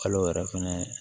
Kalo yɛrɛ fɛnɛ